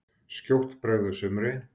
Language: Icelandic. Skjótt bregður sumri.